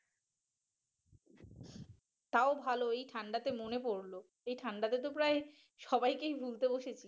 তাও ভালই ঠান্ডাতে মনে পড়ল এই ঠান্ডা তে তো প্রায় সবাইকেই ভুলতে বসেছি।